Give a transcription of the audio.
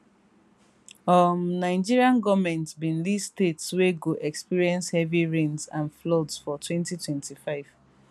um nigeria goment bin liststates wey go experience heavy rains and floodsfor 2025